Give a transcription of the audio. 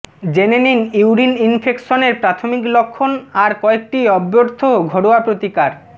জেনে নিন ইউরিন ইনফেকশনের প্রাথমিক লক্ষণ আর কয়েকটি অব্যর্থ ঘরোয়া প্রতিকার